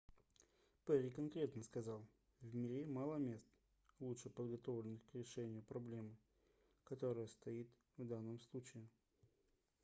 перри конкретно сказал в мире мало мест лучше подготовленных к решению проблемы которая стоит в данном случае